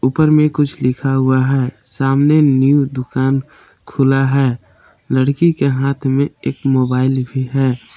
ऊपर में कुछ लिखा हुआ है सामने न्यू दुकान खुला है लड़की के हाथ में एक मोबाइल भी है।